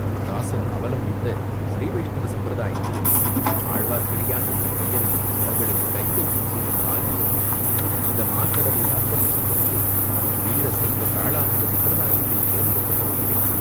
தாஸன் அவலம்பித்த ஸ்ரீவைஷ்ணவ சம்பிரதாயத்தையும், ஆழ்வார்க்கடியான் என்ற பெயரையும், தங்களுக்குக் கைங்கரியம் செய்யும் பாக்கியத்தையும் இந்த மாகடலில் அர்ப்பணம் செய்துவிட்டு வீர சைவ காளாமுக சம்பிரதாயத்தைச் சேர்ந்து விடப் போகிறேன்.